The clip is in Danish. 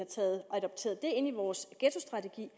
adapteret ind i vores ghettostrategi